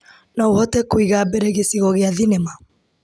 No ũhote kwĩiga mbere gĩcigo gĩa thinema .